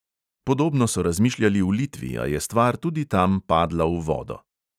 Podobno so razmišljali v litvi, a je stvar tudi tam padla v vodo.